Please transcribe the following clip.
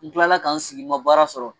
N kilala ka n sigi ma baara sɔrɔ